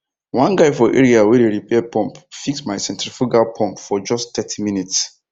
one guy for areawey dey repair pumpfix my centrifugal pump for just thirty minutes